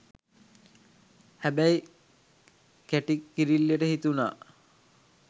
හැබැයි කැටි කිරිල්ලිට හිතුනා